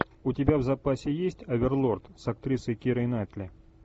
у тебя в запасе есть оверлорд с актрисой кирой найтли